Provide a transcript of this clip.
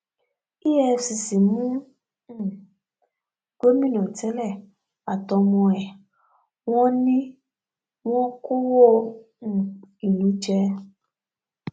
efcc mú um gómìnà tẹlẹ àtọmọ ẹ wọn ni wọn kọwọ um ìlú jẹ